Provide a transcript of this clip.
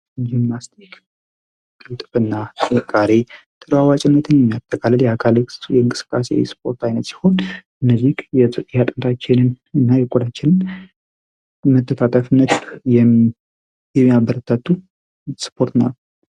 ጅምናስቲክ ክልጥብና ጽቃሬ ትራዋጭነትን የሚያተቃለል የአካለክ የእንግስቃሴ ስፖርት አይነት ሲሆን እነዚ የጽያጠንራችህንን እና የቆዳችን መተታጠፍነቱ የሚያበረተቱ ስፖርት ነው።